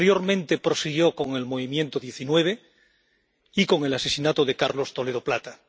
Posteriormente, prosiguió con el Movimiento 19 y con el asesinato de Carlos Toledo Plata.